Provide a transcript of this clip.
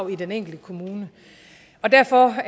i den enkelte kommune og derfor